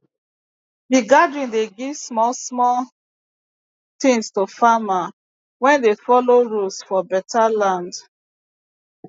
the gathering dey give small small things to farmer wey dey follow rules for beta land